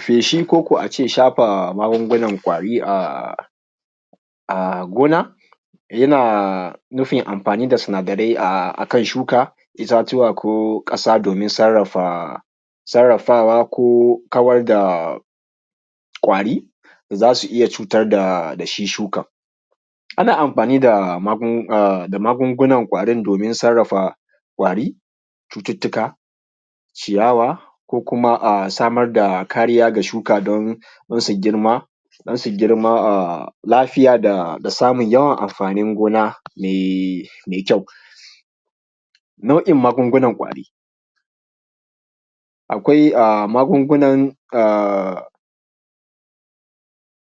Feshi koko a ce shafa magungunan ƙwari a gona yana nufin amfani da sinadarai a kan shuka, itatuwa, ko ƙasa domin sarrafawa ko kawar da ƙwari. Za su iya cutar da shi shukan. Ana amfani da magungunan ƙwarin domin sarrafa ƙwari, cututtuka, ciyawa, ko kuma samar da kariya ga shuka don su girma lafiya da samun yawan amfanin gona mai kyau. Na’uin magungunan ƙwari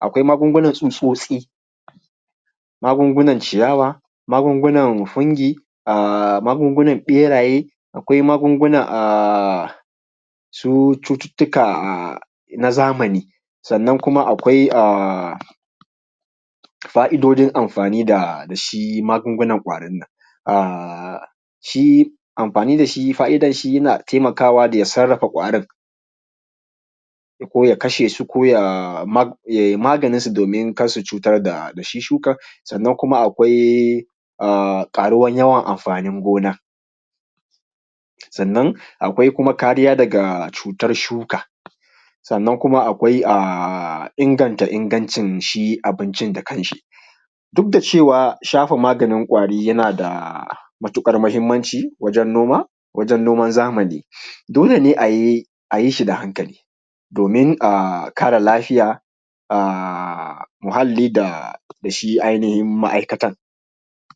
akwai magungunan tsutsotsi, magungunan ciyawa, magungunan fungi, magungunan beraye, akwai magungunan a su cututtuka a na zamani, sannan kuma akwai fa’idodin amfani da shi magungunan ƙwarin nan. Shi amfani da shi fa’idan shi yana taimakawa da ya sarrafa ƙwarin ko ya kasha su yai maganinsu domin kar su cutar da shi shukan. Sannan kuma akwai ƙaruwan yawan amfanin gona sannan akwai kuma kariya daga cutar shuka, sannan kuma akwai inganta ingancin shi abincin da kan shi. Duk da cewa shafa maganin ƙwari yana da matuƙar mahimmanci wajen noma wajen noman zamani dole ne a yi shi da hankali domin a kare lafiya a muhalli da shi ainihin ma’aikatan